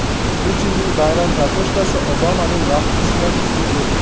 Putinning bayram kartoshkasi Obamaning vaflisidan ustun keldi.